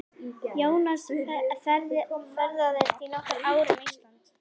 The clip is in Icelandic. Jónas ferðaðist í nokkur ár um Ísland.